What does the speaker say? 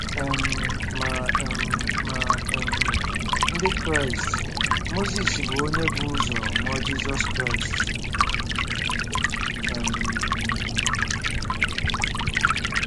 um Ma um Ma um Ndị Kraịst, Mozis bụ onye bu ụzọ mụọ Jizọs Kraịst um.